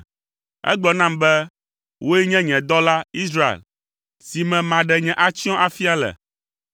Egblɔ nam be, “Wòe nye nye dɔla, Israel, si me maɖe nye atsyɔ̃ afia le.”